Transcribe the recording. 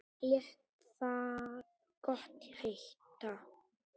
Lét það gott heita.